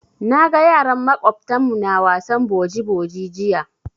Na ga yaran maƙwabtan mu na wasan boji boji jiya.